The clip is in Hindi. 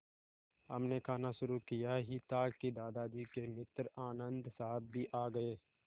हमने खाना शुरू किया ही था कि दादाजी के मित्र आनन्द साहब भी आ गए